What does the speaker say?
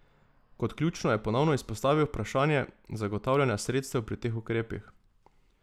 Kot ključno je ponovno izpostavil vprašanje zagotavljanja sredstev pri teh ukrepih.